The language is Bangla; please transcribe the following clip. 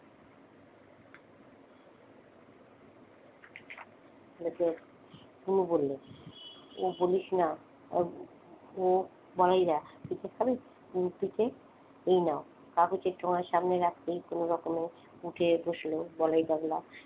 লোকের, টুকু বললে ও বলিস না আহ ও বলাই দা পিঠে খাবে? পিঠে? এই নাও কাগজের ঠোঙ্গা সামনে রাখতেই কোনরকমে উঠে বসলো বলাই পাগলা।